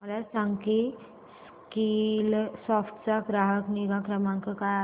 मला सांग की स्कीलसॉफ्ट चा ग्राहक निगा क्रमांक काय आहे